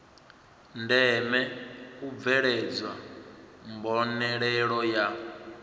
ndeme u bveledzwa mbonalelo ya